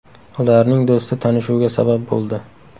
Ularning do‘sti tanishuvga sabab bo‘ldi.